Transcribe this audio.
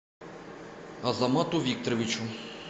азамату викторовичу